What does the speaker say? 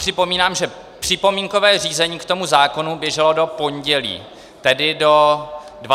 Připomínám, že připomínkové řízení k tomu zákonu běželo do pondělí, tedy do 25. března.